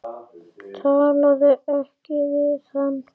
Talaðu ekki við hann.